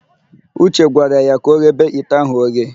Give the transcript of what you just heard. Uche gwara ya ka ọghebe ite ahụ oghe.